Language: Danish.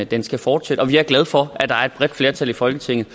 den skal fortsætte og vi er glade for at der er et bredt flertal i folketinget